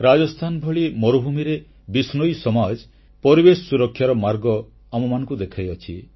ରାଜସ୍ଥାନ ଭଳି ମରୁଭୂମିରେ ବିଶ୍ନୋଇ ସମାଜ ପରିବେଶ ସୁରକ୍ଷାର ମାର୍ଗ ଆମମାନଙ୍କୁ ଦେଖାଇଅଛି